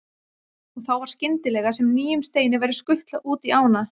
Og þá var skyndilega sem nýjum steini væri skutlað út í ána.